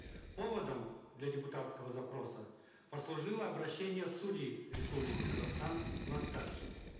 поводом для депутатского запроса послужило обращение судей республики казахстан в отставке